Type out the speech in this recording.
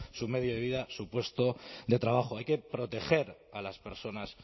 su medio de vida su puesto de trabajo hay que proteger a las personas